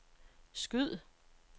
skyd